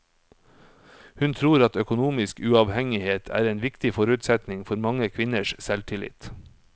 Hun tror at økonomisk uavhengighet er en viktig forutsetning for mange kvinners selvtillit.